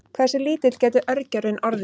Hversu lítill getur örgjörvinn orðið?